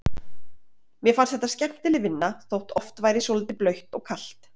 Mér fannst þetta skemmtileg vinna þótt oft væri svolítið blautt og kalt.